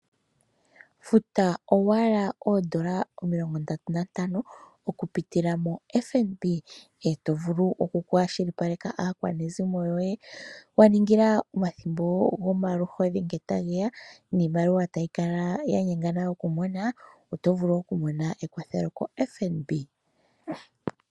Futa owala Oodola omilongo ndatu nantano okupitila mombaanga yotango yopashigwana, e to vulu okukwashilipaleka aakwanezimo yoye wa ningila omathimbo gomaluhodhi ngele tage ya niimaliwa tayi kala ya nyengana okumona, oto vulu okumona ekwathelo kombaanga yotango yopashigwana.